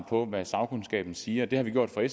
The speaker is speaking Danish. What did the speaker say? på hvad sagkundskaben siger det har vi gjort fra